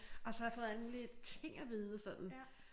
Og så har jeg fået alle mulige ting at vide sådan